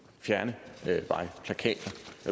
fjerne